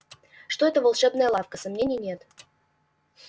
что это волшебная лавка сомнений нет